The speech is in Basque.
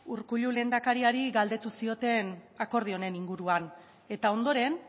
urkullu lehendakariari galdetu zioten akordio honen inguruan eta ondoren